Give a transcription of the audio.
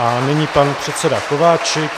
A nyní pan předseda Kováčik.